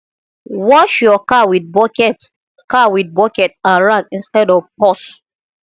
wash yur car wit bucket car wit bucket and rag instead of hose